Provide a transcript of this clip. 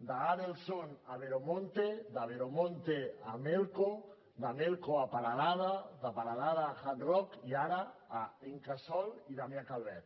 d’adelson a veremonte de veremonte a melco de melco a peralada de peralada a hard rock i ara a incasòl i damià calvet